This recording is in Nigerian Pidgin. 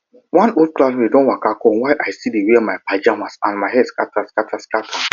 one old classmate don waka come while i still dey wear my pajamas and my hair scatter scatter scatter